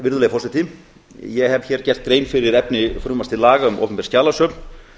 virðulegi forseti ég hef hér gert grein fyrir efni frumvarps til laga um opinber skjalasöfn